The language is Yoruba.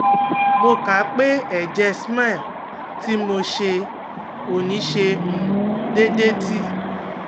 Mo ka pe ẹ̀jẹ̀ smear ti mo ṣe oni ṣe um deedetí